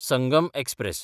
Sangam express